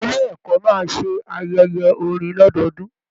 Ilé ẹkọ máa ṣe ayẹyẹ orin lọdọọdun.